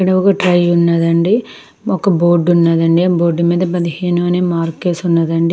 నువ్వు ఇక్కడ ఐ ఉన్నది అండీ ఒక బోర్డు ఉన్నది అండీ ఆ బోర్డు మీద పదిహేను అనే మార్కేసి ఉన్నది అండీ.